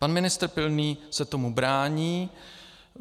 Pan ministr Pilný se tomu brání.